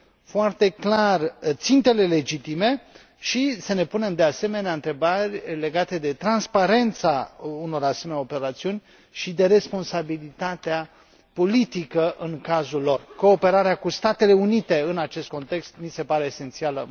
foarte clar țintele legitime și să ne punem, de asemenea, întrebarea legată de transparența unor asemenea operațiuni și de responsabilitatea politică în cazul lor cooperarea cu Statele Unite, în acest context, mi se pare esențială.